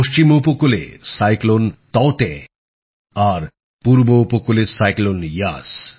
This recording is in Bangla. পশ্চিম ঊপকূলে ঘূর্ণিঝড় তাউতে আর পূর্ব উপকূলে ঘূর্ণিঝড় ইয়াস